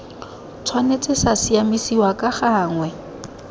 tshwanetse sa siamisiwa ka gangwe